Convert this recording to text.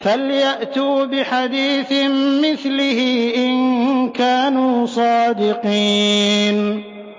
فَلْيَأْتُوا بِحَدِيثٍ مِّثْلِهِ إِن كَانُوا صَادِقِينَ